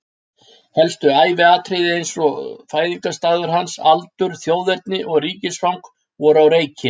Helstu æviatriði eins og fæðingarstaður hans, aldur, þjóðerni og ríkisfang voru á reiki.